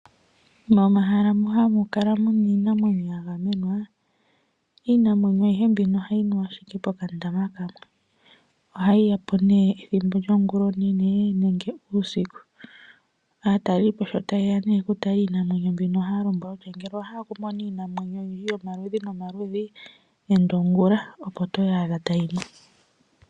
Momahala mu hamukala muna iinamwenyo yagamenwa . Iinamwenyo ayihe mbino ohayi nu ashike poka ndama kamwe . Ohayi ya po nee ethimbo lyongulonene nenge uusiku. Aatalelipo sho tayeya oku tala iinamwenyo mbino ohaya lombwelwa nee kutya. Ngele owa hala oku mona iinamwenyo oyindji yomaludhi nomaludhi enda ongulonene opo toyaadha tayi nu.